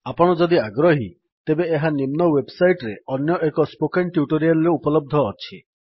ଆପଣ ଯଦି ଆଗ୍ରହୀ ତେବେ ଏହା ନିମ୍ନ ୱେବ୍ ସାଇଟ୍ ରେ ଅନ୍ୟଏକ ସ୍ପୋକେନ୍ ଟ୍ୟୁଟୋରିଆଲ୍ ରେ ଉପଲବ୍ଧ ଅଛି